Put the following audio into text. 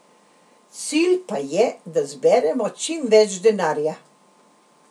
Cilj pa je, da zberemo čim več denarja.